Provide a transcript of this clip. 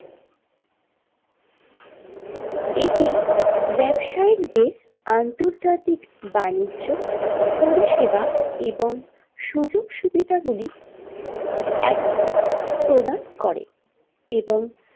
এটি ব্যাবসায়িক দের আন্তর্জাতিক বাণিজ্য পরিষেবা এবং সুযোগসুবিধা গুলি একপ্রাণ প্রদান করে এবং।